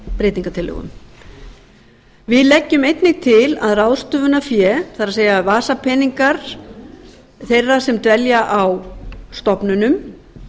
breytingartillögum þriðja við leggjum einnig til að ráðstöfunarfé það er vasapeningar þeirra sem dvelja stofnunum